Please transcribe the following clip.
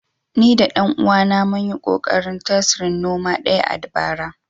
Ni da ɗan uwana mun yi ƙoƙarin tasrin noma ɗaya a bara